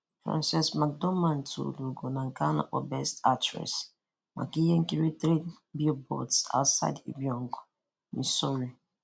Frances McDormand tuuru úgò na nke na nke a na-akpọ 'Best actress' maka ihe nkiri Three Billboards Outside Ebbing, Missouri